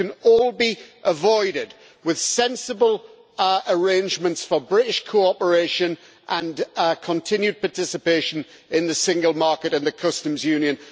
This can all be avoided with sensible arrangements for British cooperation and continued participation in the single market and the Customs Union.